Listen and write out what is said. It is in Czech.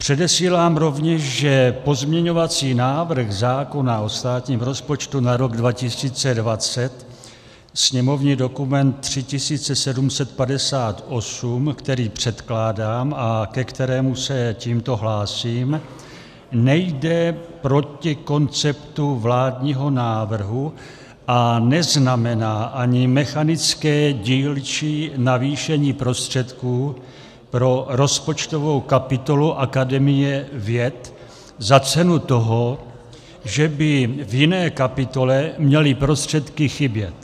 Předesílám rovněž, že pozměňovací návrh zákona o státním rozpočtu na rok 2020, sněmovní dokument 3758, který předkládám a ke kterému se tímto hlásím, nejde proti konceptu vládního návrhu a neznamená ani mechanické dílčí navýšení prostředků pro rozpočtovou kapitolu Akademie věd za cenu toho, že by v jiné kapitole měly prostředky chybět.